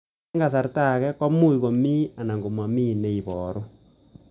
Eng' kasarta ag'e ko much ko mii anan komamii ne ibaru